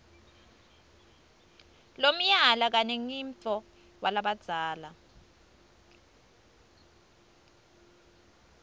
lomnyala kanemgidvo walabadzala